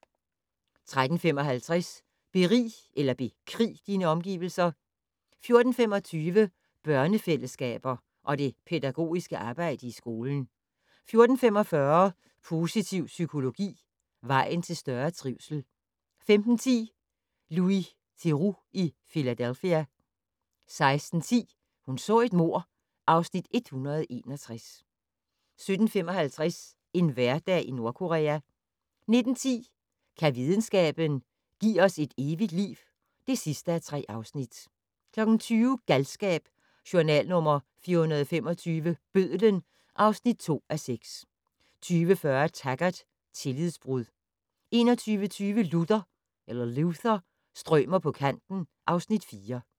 13:55: Berig eller bekrig dine omgivelser 14:25: Børnefællesskaber og det pædagogiske arbejde i skolen 14:45: Positiv psykologi - vejen til større trivsel 15:10: Louis Theroux i Philadelphia 16:10: Hun så et mord (Afs. 161) 17:55: En hverdag i Nordkorea 19:10: Kan videnskaben - give os et evigt liv (3:3) 20:00: Galskab: Journal nr. 425 - Bødlen (2:6) 20:40: Taggart: Tillidsbrud 21:25: Luther - strømer på kanten (Afs. 4)